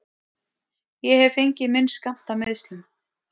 Ég hef fengið minn skammt af meiðslum.